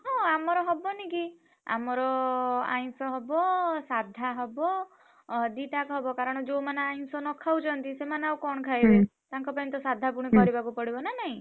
ହଁ ଆମର ହବନି କି। ଆମର ଆଇଁଷ ହବ ସାଧା ହବ। ଅ ଦିଟାକ ହବ କାରଣ ଯୋଉ ମାନେ ଆଇଁଷ ନ ଖାଉଛନ୍ତି ସେମାନେ ଆଉ କଣ ଖାଇବେ? ତାଙ୍କ ପାଇଁତ ସାଧା ପୁଣି କରିବାକୁ ପଡିବ ନାନାଇଁ?